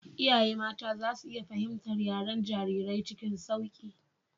Iyaye mata za su iya fahimtar yaren jarirai cikin sauƙi.